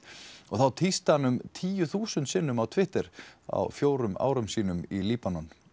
og tísti um tíu þúsund sinnum á Twitter á fjórum árum sínum í Líbanon